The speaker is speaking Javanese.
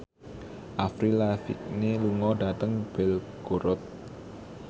Avril Lavigne lunga dhateng Belgorod